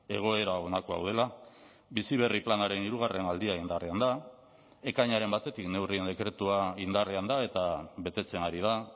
egoera honako hau dela bizi berri planaren hirugarrena aldia indarrean da ekainaren batetik neurrien dekretua indarrean da eta betetzen ari da